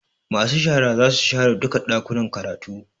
Masu shara zasu share duka Ɗakuna karatu